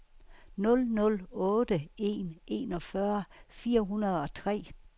nul nul otte en enogfyrre fire hundrede og tre